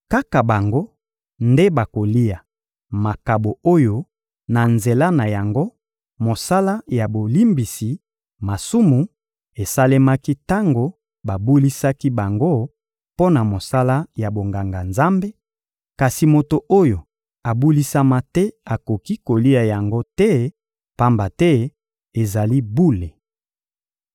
Kaka bango nde bakolia makabo oyo na nzela na yango mosala ya bolimbisi masumu esalemaki tango babulisaki bango mpo na mosala ya bonganga-Nzambe; kasi moto oyo abulisama te akoki kolia yango te, pamba te ezali bule.